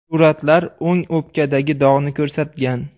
Suratlar o‘ng o‘pkadagi dog‘ni ko‘rsatgan.